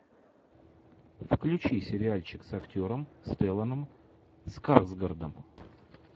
включи сериальчик с актером стелланом скарсгардом